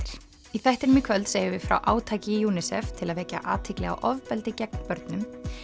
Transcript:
í þættinum í kvöld segjum við frá átaki UNICEF til að vekja athygli á ofbeldi gegn börnum